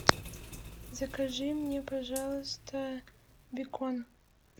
закажи мне пожалуйста бекон